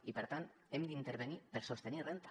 i per tant hem d’intervenir per sostenir renda